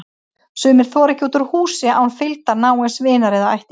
Sumir þora ekki út úr húsi án fylgdar náins vinar eða ættingja.